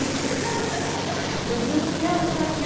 Eu dizia, eu não quero ficar aqui.